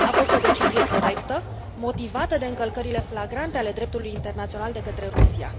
A fost o decizie corectă, motivată de încălcările flagrante ale dreptului internațional de către Rusia.